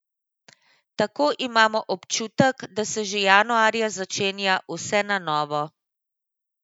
Tako imamo občutek, da se že januarja začenja vse na novo.